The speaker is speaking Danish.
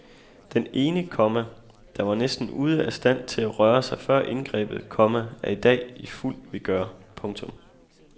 Den ene, komma der var næsten ude af stand til at røre sig før indgrebet, komma er i dag i fuld vigør. punktum